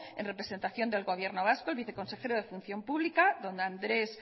en representación del gobierno vasco el vice consejero de función pública don andrés